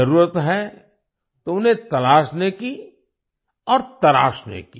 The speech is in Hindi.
ज़रूरत है तो उन्हें तलाशने की और तराशने की